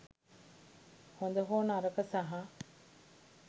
හොද හෝ නරක සහ